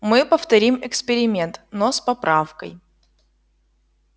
мы повторим эксперимент но с поправкой